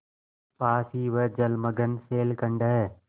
पास ही वह जलमग्न शैलखंड है